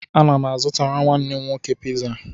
Ana m azụtara nwanne m nwoke piza